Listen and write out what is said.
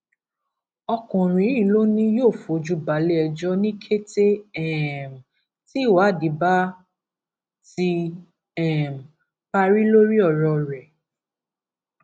ọkùnrin yìí ló ní yóò fojú balẹẹjọ ní kété um tí ìwádìí bá ti um parí lórí ọrọ rẹ